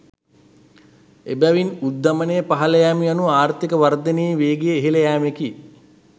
එබැවින් උද්ධමනය පහළ යෑම යනු ආර්ථීක වර්ධනයේ වේගය ඉහළ යෑමකි.